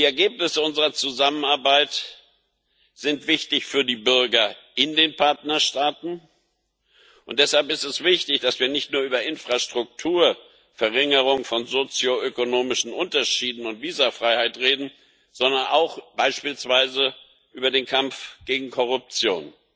Die Ergebnisse unserer Zusammenarbeit sind wichtig für die Bürger in den Partnerstaaten, und deshalb ist es wichtig, dass wir nicht nur über Infrastruktur, Verringerung von sozioökonomischen Unterschieden und Visafreiheit reden, sondern auch beispielsweise über den Kampf gegen Korruption.